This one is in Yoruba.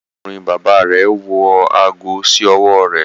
Arákùnrin bàbà rẹ wọ aago sí ọwọ rẹ